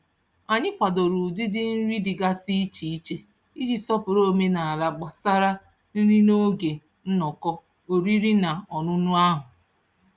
Anyị kwadoro ụdịdị nri dịgasị iche iche iji sọpụrụ omenaala gbasara nri n'oge nnọkọ oriri na ọṅụṅụ ahụ.